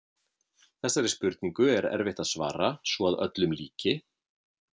Þessari spurningu er erfitt að svara svo að öllum líki.